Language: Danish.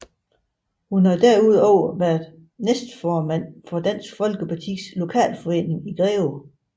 Hun har desuden været næstformand for Dansk Folkepartis lokalforening i Greve